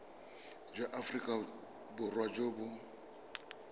jwa aforika borwa jo bo